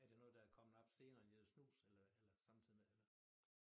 Er det noget der er kommet op senere end det dér snus eller eller samtidig med eller